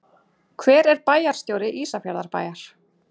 Hver er bæjarstjóri Ísafjarðarbæjar?